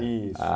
Isso.